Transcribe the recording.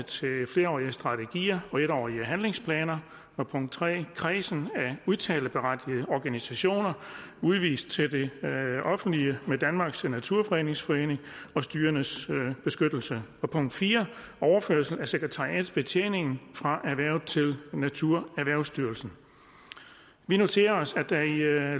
til flerårige strategier og en årige handlingsplaner punkt tre kredsen af udtaleberettigede organisationer udvides til det offentlige med danmarks naturfredningsforening og dyrenes beskyttelse og punkt fire overførsel af sekretariatsbetjening fra erhvervet til naturerhvervsstyrelsen vi noterer os at der